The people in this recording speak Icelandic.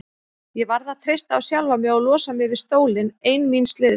Ég varð að treysta á sjálfa mig og losa mig við stólinn ein míns liðs.